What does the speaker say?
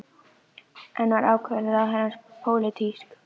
En var ákvörðun ráðherrans pólitísk?